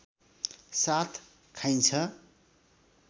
साथ खाइन्छ